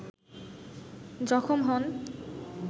জখম হন